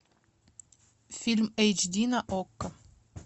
фильм эйч ди на окко